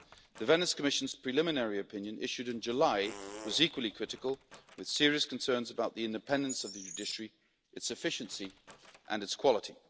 The Venice Commission's preliminary opinion, issued in July, was equally critical, raising serious concerns about the independence of the judiciary, its efficiency and its quality.